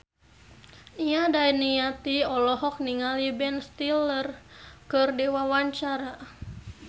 Nia Daniati olohok ningali Ben Stiller keur diwawancara